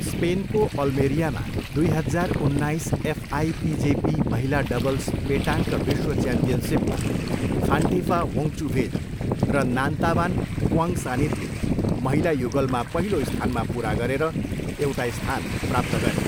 स्पेनको अल्मेरियामा दुई हजार उन्नाइस एफआइपिजेपी महिला डबल्स पेटाङ्क विश्व च्याम्पियनसिपमा फान्टिफा वोङचुभेज र नान्तावान फुआङसानितले महिला युगलमा पहिलो स्थानमा पुरा गरेर एउटा स्थान प्राप्त गरे।